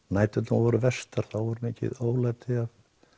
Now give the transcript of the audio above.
næturnar voru verstar þá voru mikil ólæti frá